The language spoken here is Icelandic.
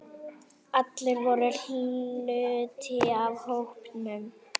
Allir voru hluti af hópnum.